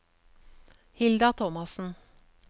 Hilda Thomassen